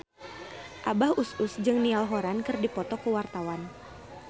Abah Us Us jeung Niall Horran keur dipoto ku wartawan